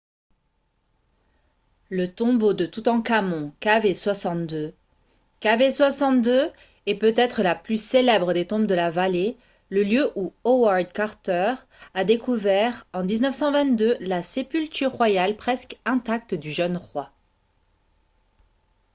le tombeau de toutankhamon kv62. kv62 est peut-être la plus célèbre des tombes de la vallée le lieu où howard carter a découvert en 1922 la sépulture royale presque intacte du jeune roi